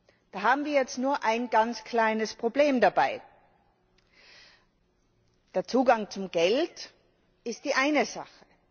Dabei haben wir jetzt nur ein ganz kleines Problem Der Zugang zum Geld ist die eine Sache.